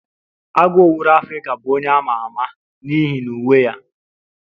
Agụ owuru Afrika bụ onye ama ama n'ihi uwe ya.